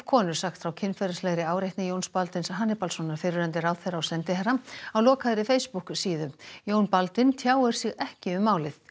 konur sagt frá kynferðislegri áreitni Jóns Baldvins Hannibalssonar fyrrverandi ráðherra og sendiherra á lokaðri Facebook síðu Jón Baldvin tjáir sig ekki um málið